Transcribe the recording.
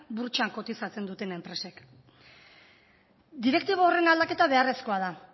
burtsan kotizatzen duten enpresek direktiba horren aldaketa beharrezkoa da